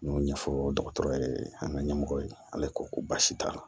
N y'o ɲɛfɔ dɔgɔtɔrɔ ye an ka ɲɛmɔgɔ ye ale ko baasi t'a la